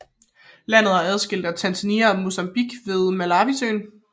Landet er adskilt fra Tanzania og Mozambique ved Malawisøen